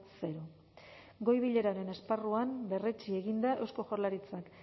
zero goi bileraren esparruan berretsi egin da eusko jaurlaritzak